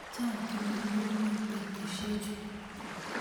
chang kimugulmet betusiechu